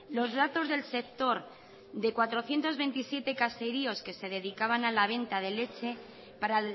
los datos del sector de cuatrocientos veintisiete caseríos que se dedicaban a la venta de leche para